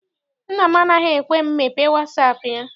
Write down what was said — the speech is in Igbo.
Nna m anaghị ekwe m mepee wasaapụ ya.